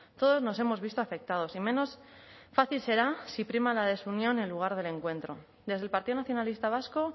todos nos hemos visto afectados y menos fácil será si prima la desunión en lugar del encuentro desde el partido nacionalista vasco